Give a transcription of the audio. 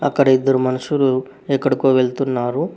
అక్కడ ఇద్దరు మనుషులు ఎక్కడికో వెళ్తున్నారు.